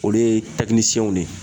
Olu ye de ye